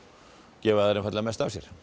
gefa þær einfaldlega mest af sér